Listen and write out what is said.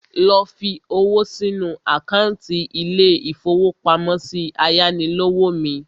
Lọ fi owó sínu àkántì ilé-ìfowópamọ́sí ayánilówó mi